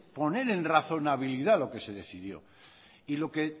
poner en razonabilidad lo que se decidió y lo que